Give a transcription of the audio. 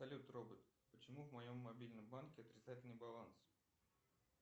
салют робот почему в моем мобильном банке отрицательный баланс